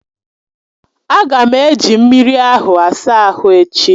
A ga m eji mmiri ahụ asa ahụ echi.